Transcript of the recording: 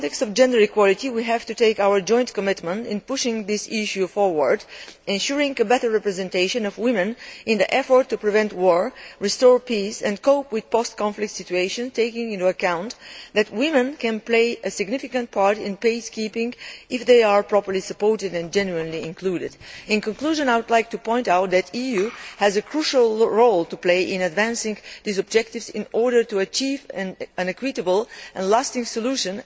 In the context of gender equality, we have to make a joint commitment to pushing this issue forward, ensuring better representation of women in an effort to prevent war, restore peace and cope with post conflict situations, taking into account that women can play a significant role in peacekeeping if they are properly supported and genuinely included. In conclusion, I would like to point out that the EU has a crucial role to play in advancing these objectives to achieve an equitable and lasting solution.